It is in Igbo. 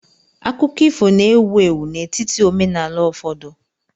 Akụkọ ifo na-ewu ewu n'etiti omenaala ụfọdụ.